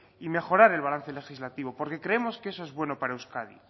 y mejorar el balance legislativo porque creemos que eso es bueno para euskadi